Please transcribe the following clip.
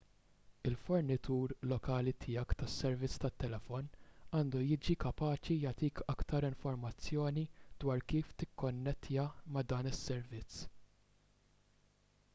il-fornitur lokali tiegħek tas-servizz tat-telefon għandu jkun kapaċi jagħtik aktar informazzjoni dwar kif tikkonnettja ma' dan is-servizz